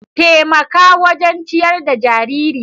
Taimaka wajen ciyar da jariri.